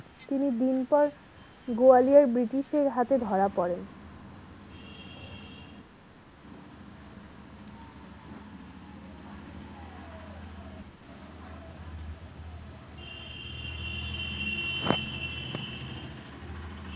তিনি দিন পর গোয়ালিয়ার british এর হাতে ধরা পরেন।